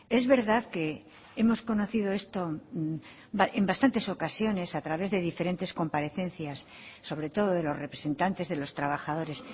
es verdad que hemos conocido esto en bastantes ocasiones a través de diferentes comparecencias sobre todo de los representantes de los trabajadores